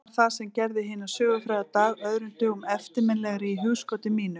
En hvað var það sem gerði hinn sögufræga dag öðrum dögum eftirminnilegri í hugskoti mínu?